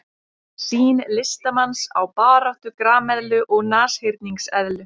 Sýn listamanns á baráttu grameðlu og nashyrningseðlu.